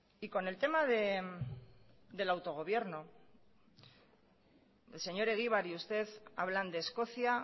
y con el tema del autogobierno el señor egibar y usted hablan de escocia